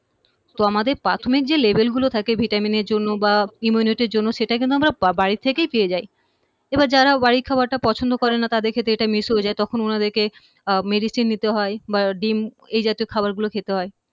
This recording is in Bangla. তো আমাদের প্রাথমিক যে level গুলো থাকে vitamin এর জন্য বা immunity র জন্য সেটা কিন্তু আমরা বা বাড়ি থেকেই পেয়ে যাই এবার যারা বাড়ির খাবারটা পছন্দ করে না তাদের কিন্তু এটা miss হয়ে যায় তখন উনাদেরকে আহ medicine নিতে হয় বা ডিম এ জাতীয় খাবারগুলো খেতে হয়